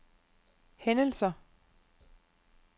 hændelser